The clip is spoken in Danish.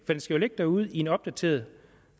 den skal jo ligge derude i en opdateret